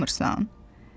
Utanmırsan?